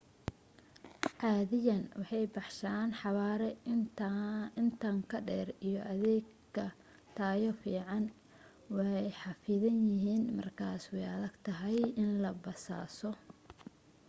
caadiyan waxay baxshaan xawaare intan ka dheer iyo adeeg ka tayo fiican way xaffidan yihiin markaas way adag tahay in la basaaso